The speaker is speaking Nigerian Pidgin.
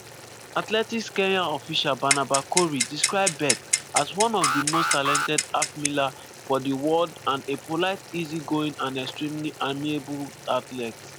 athletics kenya official barnaba korir describe bett as "one of di most talented half-milers" for di world and a "polite easy-going and extremely amiable" athlete.